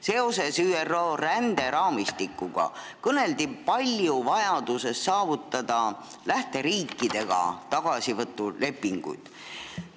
Seoses ÜRO ränderaamistikuga kõneldi palju vajadusest saavutada lähteriikidega tagasivõtulepingud.